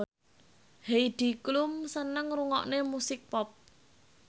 Heidi Klum seneng ngrungokne musik pop